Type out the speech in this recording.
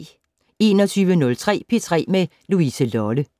21:03: P3 med Louise Lolle